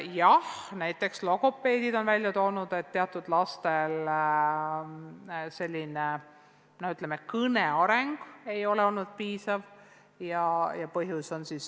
Jah, näiteks logopeedid on välja toonud, et teatud lastel ei ole kõne areng olnud piisav.